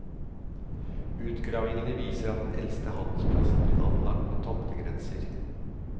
Utgravningene viser at den eldste handelsplassen ble anlagt med tomtegrenser.